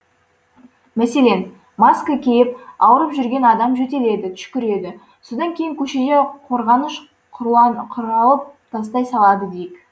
мәселен маска киіп ауырып жүрген адам жөтеледі түшкіреді содан кейін көшеде қорғаныш құралын тастай салады дейік